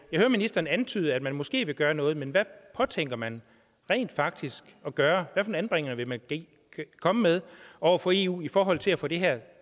jeg hører ministeren antyde at man måske vil gøre noget men hvad påtænker man rent faktisk at gøre hvad for et anbringende vil man komme med over for eu i forhold til at få det her